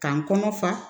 K'an kɔnɔ fa